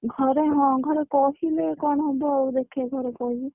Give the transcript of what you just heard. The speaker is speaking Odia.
ଘରେ ହଁ ଘରେ କହିଲେ କଣ ହବ ଆଉ ଦେଖିଆ ଘରେ କହିବି।